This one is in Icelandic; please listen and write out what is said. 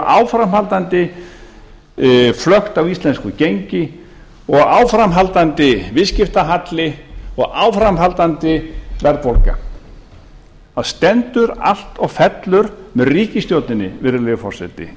áframhaldandi flökt á íslensku gengi og áframhaldandi viðskiptahalli og áframhaldandi verðbólga það stendur allt og fellur með ríkisstjórninni virðulegi forseti í